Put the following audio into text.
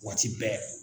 Waati bɛɛ